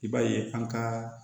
I b'a ye an ka